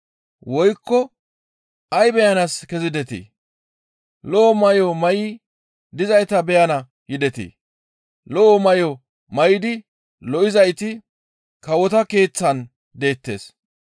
Woykko ay beyanaas kezidetii? Lo7o may7o may7i dizayta beyana yidetii? Lo7o may7o may7idi lo7izayti kawota keeththan deettes.